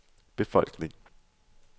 befolkning